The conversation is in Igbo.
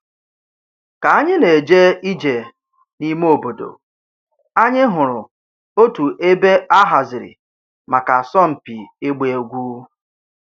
Ka anyị na-eje ije n'ime obodo, anyị hụrụ otu ebe a haziri maka asọmpi ịgba egwu.